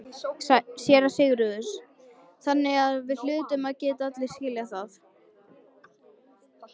SÉRA SIGURÐUR: Þannig hlutum við allir að skilja það.